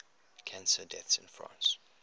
cancer deaths in france